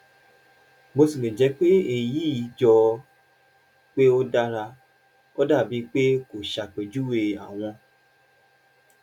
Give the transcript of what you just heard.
bó tilẹ̀ jẹ́ pé èyí jọ pé ó dára ó dà bíi pé kò ṣàpèjúwe àwọn